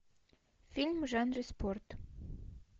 фильм в жанре спорт